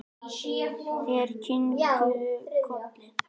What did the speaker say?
Þær kinkuðu kolli.